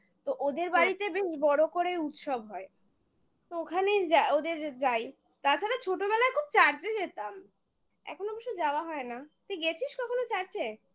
তো ওদের বাড়িতে অনেক বড় করেই উৎসব হয় তো ওখানেই যা ওদের যাই তাছাড়া ছোটবেলায় খুব church -এ যেতাম এখন অবশ্য যাওয়া হয় না তুই গেছিস কখনো church -এ?